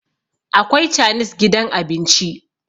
akwai chanis gidan abinci